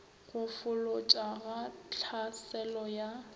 go folotša ga tlhaselo ya